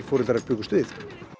foreldrar bjuggust við